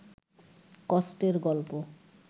কষ্টের গল্প